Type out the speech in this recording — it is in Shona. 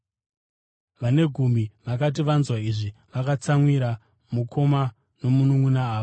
Vane gumi vakati vanzwa izvi vakatsamwira mukoma nomununʼuna ava.